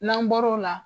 N'an bɔr'o la